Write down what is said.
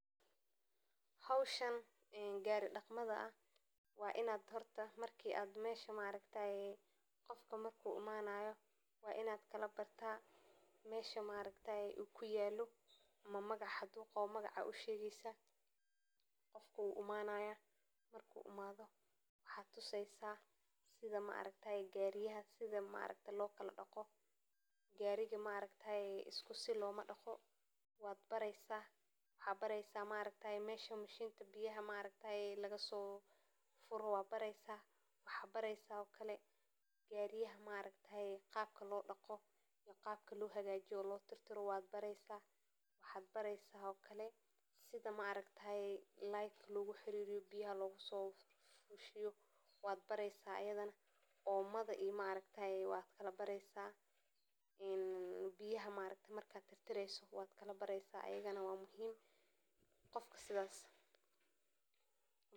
howshan ee gari dhaqmada ah wainaad horta marki aad mesha maaragtaye qofka marku imanaayo wa inaad kalabartaa mesha maaragtaaye ukuyaalo ama magac hadu qabo magacaad ushegeysa, qofka wuimanaya marku imaado waxaad tuseysa sida maaragtaaye gaariyaha sida maaragte lokala dhaqo gaariga maaragtyaaye iskusi lomadhaqo waad bareysa, waxa bareysa maaragtaye mesha mashinta biyaha maaragtaye lagasofuro wa bareysa, waxa bareysa okale gaariyaha maaragtaaye qaabka lodhaqo iyo qabka lohagajiyo oo lotirtiro waad bareysa, waxad bareysa okale sida maaragtaye leerka loguxaririyo biyaha loguso ifiyo waad bareysa iydana, omada iyo maaragtaye waad kala bareysa een biyaha maaragte marka tirtireyso waad kala bareysa iyagana waa muhim, qofka sidaz.